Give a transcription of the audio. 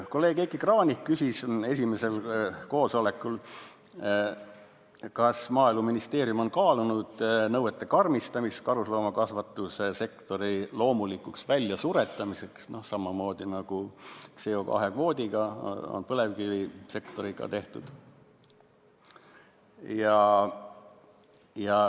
Kolleeg Heiki Kranich küsis esimesel koosolekul, kas Maaeluministeerium on kaalunud nõuete karmistamist karusloomakasvatuse loomulikuks väljasuretamiseks, samamoodi nagu CO2 kvoodi abil on põlevkivisektoriga tehtud.